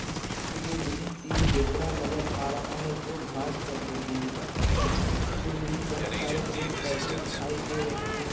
इस चित्र मे मुझे तीन ज़ेबरा नजर अ-अ रहा है जो घास चार रहे है इस चित्र मे मुजगहे बहोत सारे पेड़ पोदहे दिखाई दे रहे है --